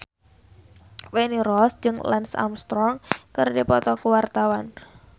Feni Rose jeung Lance Armstrong keur dipoto ku wartawan